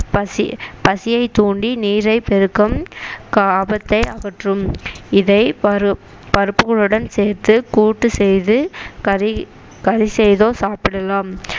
பசி பசியை தூண்டி நீரை பெருக்கும் காபத்தை அகற்றும் இதை பரு~ பருப்புகளுடன் சேர்த்து கூட்டு செய்து கறி கலி செய்தோ சாப்பிடலாம்